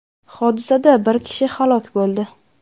Hodisada bir kishi halok bo‘ldi.